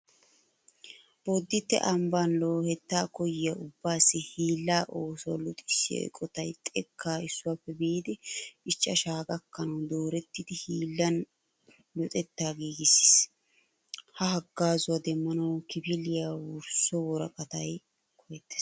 Bodditte ambban loohettaa koyyiya ubbaassi hiilla oosuwa luxissiya eqotay xekkaa issuwappe biidi ichchashaa gakkanawu doorettida hiillan luxettaa giigissiis. Ha haggaazuwa demmanawu kifiliya wursso woraqatay koyettes.